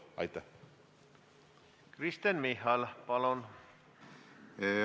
Kristen Michal, palun!